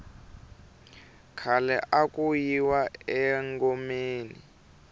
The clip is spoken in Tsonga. khale aku yiwa engomeni